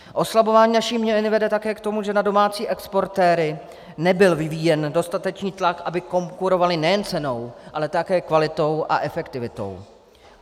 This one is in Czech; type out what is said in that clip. Oslabování naší měny vede také k tomu, že na domácí exportéry nebyl vyvíjen dostatečný tlak, aby konkurovali nejen cenou, ale také kvalitou a efektivitou.